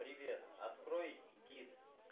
привет открой гид